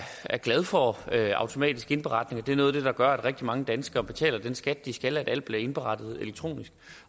glad for automatisk indberetning det er noget af det der gør at rigtig mange danskere betaler den skat de skal fordi alt bliver indberettet elektronisk